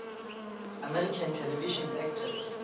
american television actors